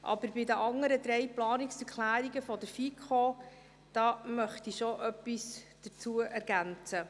Aber zu den anderen Planungserklärungen der FiKo möchte ich schon etwas ergänzen.